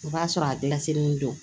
O b'a sɔrɔ a gilan selen don